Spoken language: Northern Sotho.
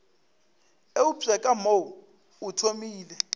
eupša ka mo o thomile